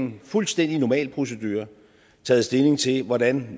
en fuldstændig normal procedure taget stilling til hvordan